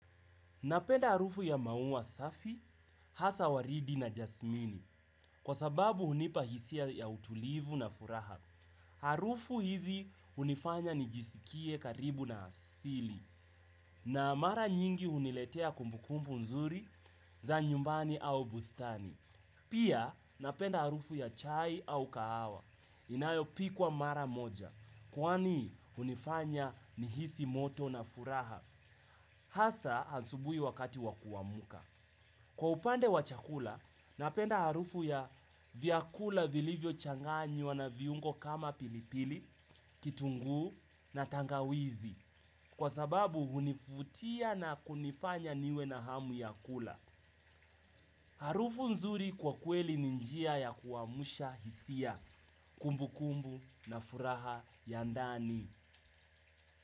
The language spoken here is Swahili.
Napenda harufu ya maua safi, hasa waridi na jasmini, kwa sababu hunipa hisia ya utulivu na furaha. Harufu hizi hunifanya nijisikie karibu na asili, na mara nyingi huniletea kumbukumbu nzuri za nyumbani au bustani. Pia napenda harufu ya chai au kahawa, inayo pikwa mara moja, kwani hunifanya nihisi moto na furaha. Hasa, asubuhi wakati wa kuamka. Kwa upande wa chakula, napenda harufu ya vyakula vilivyochanganywa na viungo kama pilipili, kitungu na tangawizi. Kwa sababu, hunivutia na kunifanya niwe na hamu ya kula. Harufu nzuri kwa kweli ni njia ya kuamsha hisia. Kumbukumbu na furaha ya ndani.